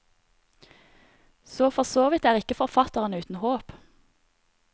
Så forsåvidt er ikke forfatteren uten håp.